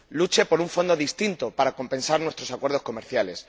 Luche por un Fondo distinto para compensar nuestros acuerdos comerciales.